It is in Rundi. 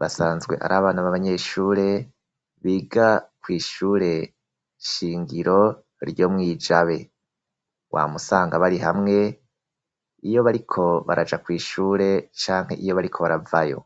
basanzwe ari abana b abanyeshure biga ku ishure shingiro ryo mwijabe wamusanga bari hamwe iyo bariko baraja ku ishure canke iyo bariko baravayo.